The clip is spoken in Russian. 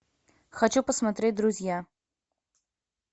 хочу посмотреть друзья